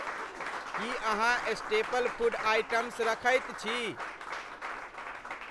की अहाँ staple food items रखैत छी?